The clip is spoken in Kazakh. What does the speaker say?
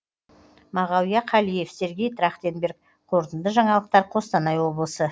мағауия қалиев сергей трахтенберг қорытынды жаңалықтар қостанай облысы